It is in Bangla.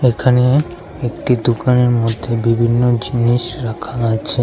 এখানে একটি দুকানের মধ্যে বিভিন্ন জিনিস রাখা আছে।